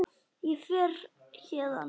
Ég fer héðan.